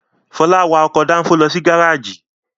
Fọlá wa ọkọ̀ dáńfó lọ sí gárájì.